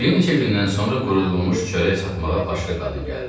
Bir neçə gündən sonra qurudulmuş çörək satmağa başqa qadın gəldi.